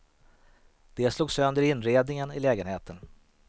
De slog sönder inredningen i lägenheten.